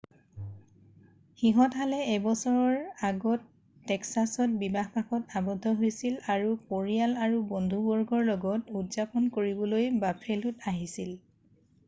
সিহঁতহালে এবছৰ আগত টেক্সাছত বিবাহ পাশত আৱদ্ধ হৈছিল আৰু পৰিয়াল আৰু বন্ধুবৰ্গৰ লগত উদযাপন কৰিবলৈ বাফেলোত আহিছিল